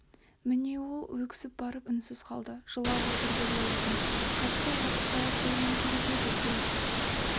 міне ол өксіп барып үнсіз қалды жылап отыр деп ойладым хатты оқытпай-ақ қоюым керек еді селт